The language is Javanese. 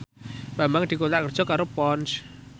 Bambang dikontrak kerja karo Ponds